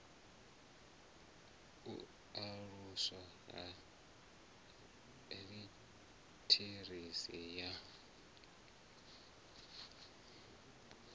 u aluswa ha litheresi ya